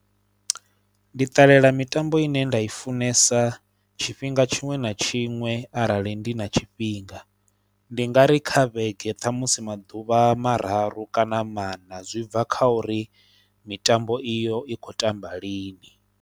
Ndi ṱalela mitambo ine nda i funesa tshifhinga tshiṅwe na tshiṅwe arali ndi na tshifhinga, ndi nga ri kha vhege ṱhamusi maḓuvha mararu kana maṋa zwi bva kha uri mitambo iyo i khou tamba lini.